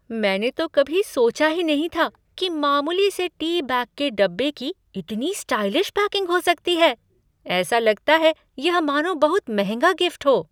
मैंने तो कभी सोचा ही नहीं था कि मामूली से टी बैग के डिब्बे को इतनी स्टाइलिश पैकिंग हो सकती है, ऐसा लगता है यह मानो बहुत महंगा गिफ्ट हो।